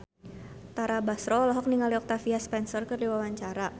Tara Basro olohok ningali Octavia Spencer keur diwawancara